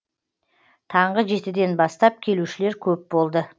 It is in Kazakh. таңғы жетіден бастап келушілер көп болды